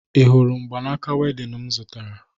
Ị hụrụ mgbanaaka wedịn m zụtara?